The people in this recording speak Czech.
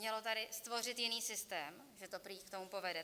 Zaznělo tady "stvořit jiný systém", že to prý k tomu povede.